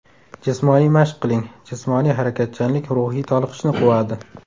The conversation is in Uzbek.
Jismoniy mashq qiling Jismoniy harakatchanlik ruhiy toliqishni quvadi.